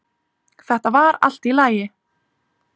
Þetta var allt í lagi